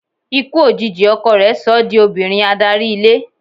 Ikú òjijì ọkọ rẹ̀ so ọ́ di obìnrin adarí ilé.